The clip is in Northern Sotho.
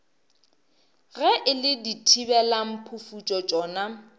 ge e le dithibelamphufutšo tšona